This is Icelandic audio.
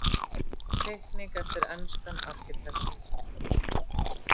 Teikning eftir enskan arkitekt.